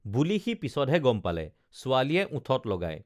বুলি সি পিছতহে গম পালে ছোৱালীয়ে ওঠত লগায়